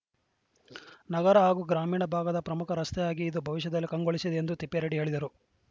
ನಗರ ಹಾಗೂ ಗ್ರಾಮೀಣ ಭಾಗದ ಪ್ರಮುಖ ರಸ್ತೆಯಾಗಿ ಇದು ಭವಿಷ್ಯದಲ್ಲಿ ಕಂಗೊಳಿಸಲಿದೆ ಎಂದು ತಿಪ್ಪಾರೆಡ್ಡಿ ಹೇಳಿದರು